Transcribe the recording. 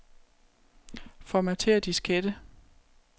Formatér diskette.